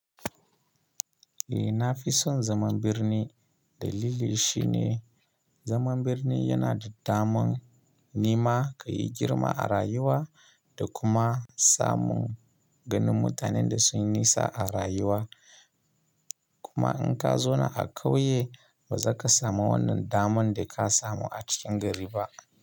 Eh na fi son zaman birni dalili shi ne zaman birni yana da daman nima ka yi girma a rayuwa da kuma samun ganin mutanen da sun yi nisa a rayuwa. Kuma in ka zona a ƙauye ba za ka samu wannan daman da ka samu a cikin gari ba.